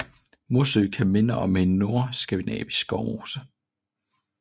Mossø kan minde om en nordskandinavisk skovmose